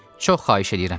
Çox xahiş edirəm.